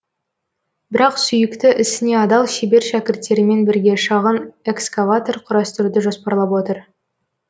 бірақ сүйікті ісіне адал шебер шәкірттерімен бірге шағын экскаватор құрастыруды жоспарлап отыр